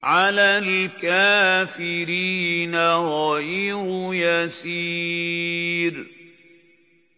عَلَى الْكَافِرِينَ غَيْرُ يَسِيرٍ